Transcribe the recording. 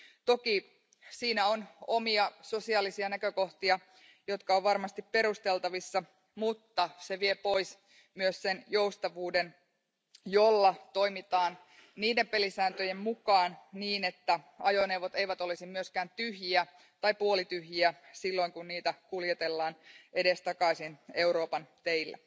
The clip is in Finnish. Toki siinä on omia sosiaalisia näkökohtia, jotka ovat varmasti perusteltavissa, mutta se vie pois myös sen joustavuuden, jolla toimitaan niiden pelisääntöjen mukaan niin, että ajoneuvot eivät olisi myöskään tyhjiä tai puolityhjiä silloin kun niitä kuljetellaan edestakaisin Euroopan teillä.